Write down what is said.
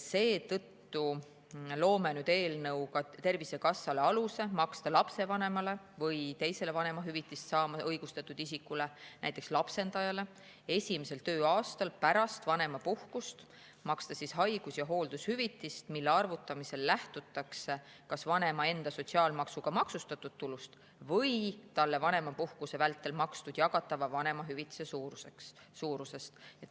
Seetõttu loome eelnõuga Tervisekassale aluse maksta lapsevanemale või teisele vanemahüvitist saama õigustatud isikule, näiteks lapsendajale, esimesel tööaastal pärast vanemapuhkust haigus‑ ja hooldushüvitist, mille arvutamisel lähtutakse kas vanema enda sotsiaalmaksuga maksustatud tulust või talle vanemapuhkuse vältel makstud jagatava vanemahüvitise suurusest.